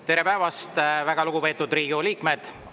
Tere päevast, väga lugupeetud Riigikogu liikmed!